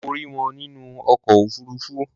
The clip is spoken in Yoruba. Mo rí wọn nínú ọkọ̀ òfuruufú.